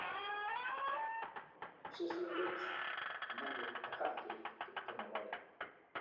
Mswisindet Manuel Akanji 22.